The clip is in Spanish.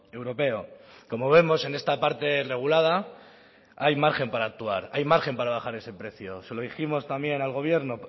europeo como vemos en esta parte regulada hay margen para actuar hay margen para bajar ese precio se lo dijimos también al gobierno